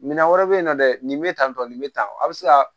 Minan wɛrɛ bɛ yen nɔ dɛ nin bɛ tan tɔ nin bɛ tan wa a bɛ se ka